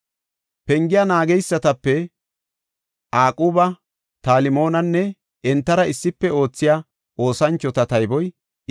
Pengiya naageysatape, Aquba, Talmoonanne entara issife oothiya oosanchota tayboy 172.